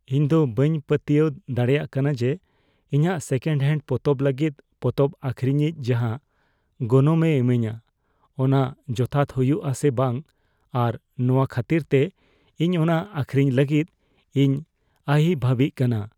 ᱤᱧ ᱫᱚ ᱵᱟᱹᱧ ᱯᱟᱛᱭᱟᱹᱣ ᱫᱟᱲᱮᱭᱟᱜ ᱠᱟᱱᱟ ᱡᱮ, ᱤᱧᱟᱹᱜ ᱥᱮᱠᱮᱱᱰ ᱦᱮᱱᱰ ᱯᱚᱛᱚᱵ ᱞᱟᱹᱜᱤᱫ ᱯᱚᱛᱚᱵ ᱟᱹᱠᱷᱨᱤᱧᱤᱡ ᱡᱟᱦᱟᱸ ᱜᱚᱱᱚᱝ ᱮ ᱤᱢᱟᱹᱧᱟᱹ, ᱚᱱᱟ ᱡᱚᱛᱷᱟᱛ ᱦᱩᱭᱩᱜᱼᱟ ᱥᱮ ᱵᱟᱝ ᱟᱨ ᱱᱚᱶᱟ ᱠᱷᱟᱹᱛᱤᱨᱛᱮ ᱤᱧ ᱚᱱᱟ ᱟᱹᱠᱷᱨᱤᱧ ᱞᱟᱹᱜᱤᱫ ᱤᱧ ᱟᱹᱦᱤᱵᱷᱟᱹᱵᱤᱜ ᱠᱟᱱᱟ ᱾